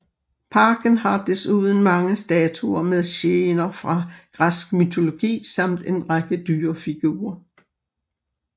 Parken har desuden mange statuer med scener fra græsk mytologi samt en række dyrefigurer